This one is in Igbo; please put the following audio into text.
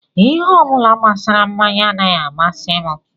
Ihe ọ bụla gbasara mmanya anaghị amasị m